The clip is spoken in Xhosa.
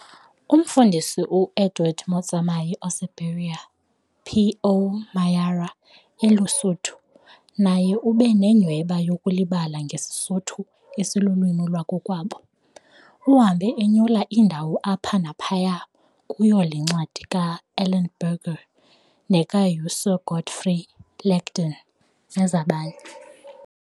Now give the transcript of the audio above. Umfundisi uEdward Motsamai oseBeria, P.O Mayara, eluSuthu, naye ube nenyhweba yokulibala ngesiSuthu esilulwimi lwakowabo. Uhambe enyula iindawo apha naphaya kuyo le ncwadi kaEllenberger, nekaUSir Godfrey Lagden, nezabanye.